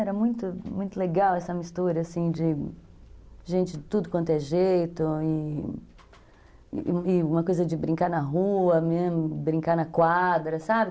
Era muito, muito legal essa mistura, assim, de gente de tudo quanto é jeito e e uma coisa de brincar na rua, né, brincar na quadra, sabe?